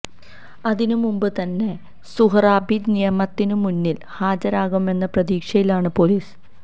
അതിനു മുമ്പ് തന്നെ സുഹ്റാബി നിയമത്തിന് മുന്നിൽ ഹാജരാകുമെന്ന പ്രതീക്ഷയിലാണ് പൊലീസ്